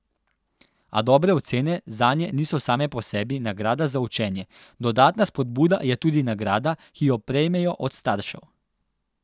A dobre ocene zanje niso same po sebi nagrada za učenje, dodatna spodbuda je tudi nagrada, ki jo prejmejo od staršev.